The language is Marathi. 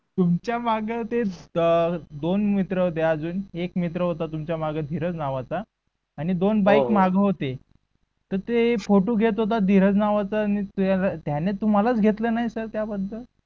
तुमच्या मागे दोन मित्र होत अजून एक मित्र होता तुमच्या माग धीरज नावाचा अनी दोन बाईक माग होते. ते photo घेत होता धीरज नावाचा त्यान तुम्हालाच नाही घेतल त्याबद्दल.